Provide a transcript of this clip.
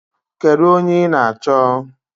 Kedu onye ị na-achọ?